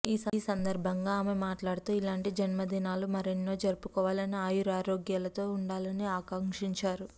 ఈ సందర్భంగా ఆమె మాట్లాడుతూ ఇలాంటి జన్మదినాలు మరెన్నో జరుపుకుని ఆయురారోగ్యాలతో ఉండాలని ఆకాంక్షించారు